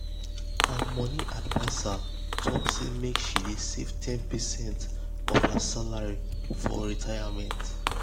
her money adviser talk say make she dey save ten percent of her salary for retirement.